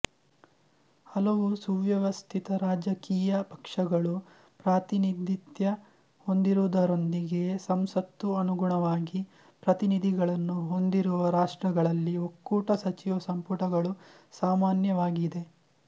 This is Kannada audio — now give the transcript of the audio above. ಹಲವು ಸುವ್ಯವಸ್ಥಿತ ರಾಜಕೀಯ ಪಕ್ಷಗಳು ಪ್ರಾತಿನಿಧಿತ್ಯ ಹೊಂದಿರುವುದರೊಂದಿಗೆ ಸಂಸತ್ತು ಅನುಗುಣವಾಗಿ ಪ್ರತಿನಿಧಿಗಳನ್ನು ಹೊಂದಿರುವ ರಾಷ್ಟ್ರಗಳಲ್ಲಿ ಒಕ್ಕೂಟ ಸಚಿವ ಸಂಪುಟಗಳು ಸಾಮಾನ್ಯವಾಗಿದೆ